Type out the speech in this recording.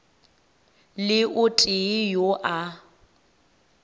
le o tee yo a